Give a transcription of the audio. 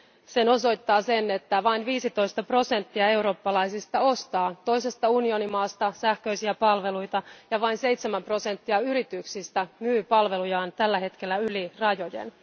Sen osoittaa se, että vain 15 prosenttia eurooppalaisista ostaa toisesta unionimaasta sähköisiä palveluita ja vain seitsemän prosenttia yrityksistä myy palvelujaan tällä hetkellä yli rajojen.